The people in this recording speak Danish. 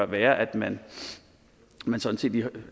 være at man man sådan